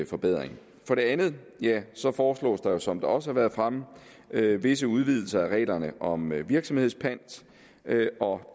forbedring for det andet foreslås der jo som det også har været fremme visse udvidelser af reglerne om virksomhedspant og